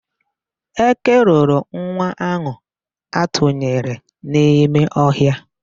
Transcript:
Eke loro nwa ahụ atụnyere n'ime ọhịa.